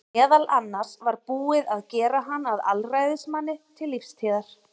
meðal annars var búið að gera hann að alræðismanni til lífstíðar